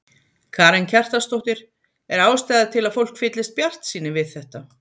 Karen Kjartansdóttir: Er ástæða til að fólk fyllist bjartsýni við þetta?